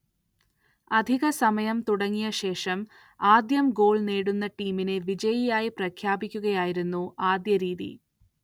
അധിക സമയം തുടങ്ങിയ ശേഷം ആദ്യം ഗോൾ നേടുന്ന ടീമിനെ വിജയിയായി പ്രഖ്യാപിക്കുകയായിരുന്നു ആദ്യ രീതി.